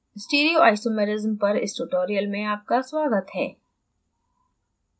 stereoisomerism पर इस tutorial में आपका स्वागत है